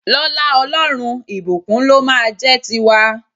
Lọ́lá Ọlọ́run, ìbùkún ló máa a jẹ́ ti wa.